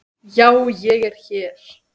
Já, ég er hér.